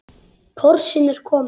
Porsinn er kominn.